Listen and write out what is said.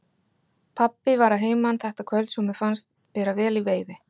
Pabbi var að heiman þetta kvöld svo mér fannst bera vel í veiði.